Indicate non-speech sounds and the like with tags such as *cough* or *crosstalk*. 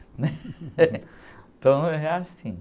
né? *laughs* Então, é assim.